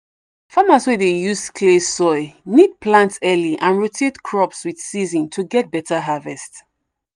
farmers wey dey use clay soil need plant early and rotate crops with season to get better harvest.